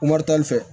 fɛ